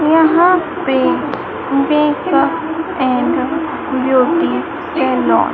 यहां पे bake and beauty salon --